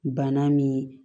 Bana min